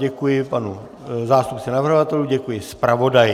Děkuji panu zástupci navrhovatelů, děkuji zpravodaji.